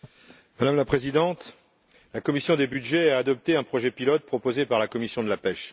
Madame la Présidente, la commission des budgets a adopté un projet pilote, proposé par la commission de la pêche.